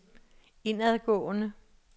indadgående